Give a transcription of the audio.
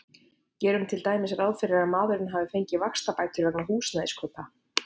Gerum til dæmis ráð fyrir að maðurinn hafi fengið vaxtabætur vegna húsnæðiskaupa.